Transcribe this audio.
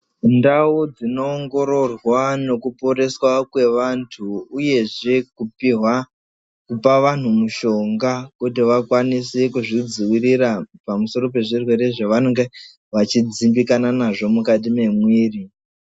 Ndau dzinoongororwa nokuporeswa kwevantu, uyezve kupihwa kupa vantu mishonga kuti vakwanise kuzvidzivirira. Pamusoro pezvirwere zvevanenge vachidzimbikana nazvo mukati mwemwiri.